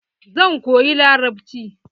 Zan koyi larabci.